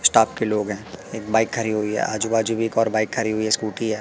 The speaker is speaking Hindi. स्टाफ के लोग हैं एक बाइक खड़ी हुई हैं आजू बाजू भी एक और बाइक खड़ी हुई है स्कूटी है।